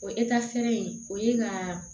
O ekitariferen o ye ka